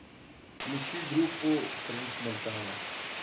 включи группу френч монтана